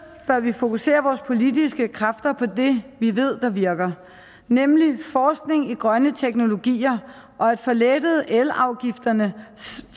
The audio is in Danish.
bør vi fokusere vores politiske kræfter på det vi ved virker nemlig forskning i grønne teknologier og at få lettet elafgifterne